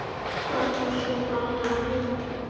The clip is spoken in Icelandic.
Hvað á svo gatan að heita?